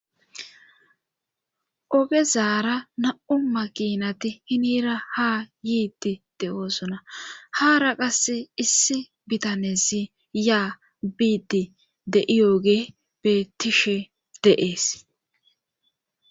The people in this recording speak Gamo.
Oge zaara na7u makinati hinira ha yiiti de oosona haara qasse issi bitanesi ya biidi de7iyooge bettishe deees.